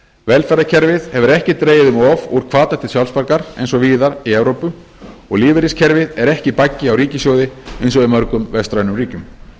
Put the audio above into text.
velferðarkerfið hefur ekki dregið um of úr hvata til sjálfsbjargar eins og víðar í evrópu og lífeyriskerfið er ekki baggi á ríkissjóði eins og í mörgum vestrænum ríkjum